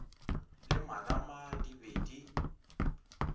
le marama di be di